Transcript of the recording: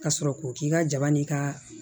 Ka sɔrɔ k'o k'i ka jaba n'i ka